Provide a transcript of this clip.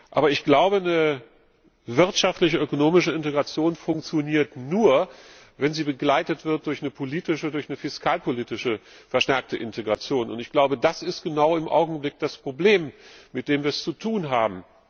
Aber ich glaube, eine wirtschaftliche ökonomische Integration funktioniert nur, wenn sie begleitet wird durch eine politische, durch eine fiskalpolitische verstärkte Integration. Ich glaube, das ist im Augenblick genau das Problem, mit dem wir es zu tun haben.